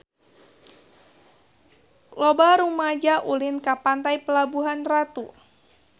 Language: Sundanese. Loba rumaja ulin ka Pantai Pelabuhan Ratu